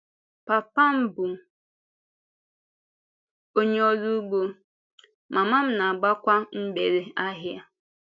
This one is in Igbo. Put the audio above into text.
Pápa m bụ onye ọrụ ugbo, mámá m na-agbákwa mgbèrè ahịa.